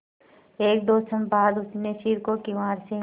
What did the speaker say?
एकदो क्षण बाद उसने सिर को किवाड़ से